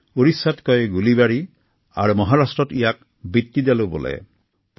উৰিষ্যাত ইয়াক গুলীবাড়ী আৰু মহাৰাষ্ট্ৰত ভিট্টিডালো হিচাপে জনা যায়